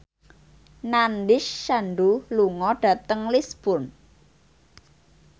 Nandish Sandhu lunga dhateng Lisburn